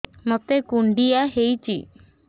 ମୋତେ କୁଣ୍ଡିଆ ହେଇଚି